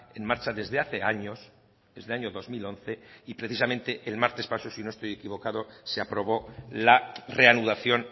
en marcha desde hace años desde el año dos mil once y precisamente el martes pasado si no estoy equivocado se aprobó la reanudación